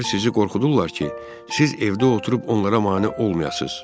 Onlar sizi qorxudurlar ki, siz evdə oturub onlara mane olmayasız.